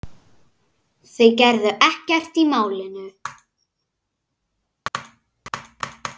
Þeir gerðu ekkert í málinu.